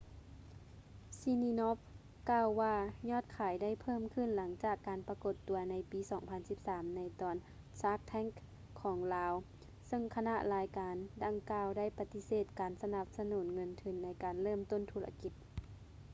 siminoff ກ່າວວ່າຍອດຂາຍໄດ້ເພີ່ມຂຶ້ນຫຼັງຈາກການປະກົດຕົວໃນປີ 2013 ໃນຕອນ shark tank ຂອງລາວ ເຊິ່ງຄະນະລາຍການດັ່ງກ່າວໄດ້ປະຕິເສດການສະໜັບສະໜູນເງິນທຶນໃນການເລີ່ມຕົ້ນທຸລະກິດ